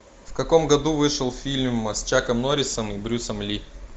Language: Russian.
в каком году вышел фильм с чаком норрисом и брюсом ли